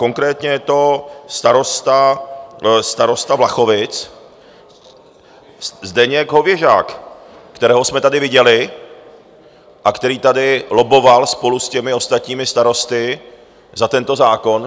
Konkrétně je to starosta Vlachovic Zdeněk Hověžák, kterého jsme tady viděli a který tady lobboval spolu s těmi ostatními starosty za tento zákon.